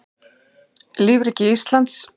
lífríki íslands